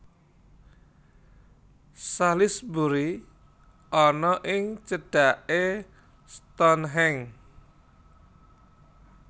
Salisbury ana ing cedhaké Stonehenge